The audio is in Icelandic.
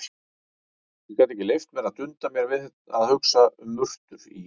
Ég gat ekki leyft mér að dunda mér við að hugsa um murtur í